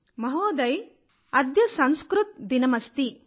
మహోదయ్ అద్య సంస్కృత్ దినమస్తి